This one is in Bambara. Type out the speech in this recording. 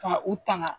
Ka u tanga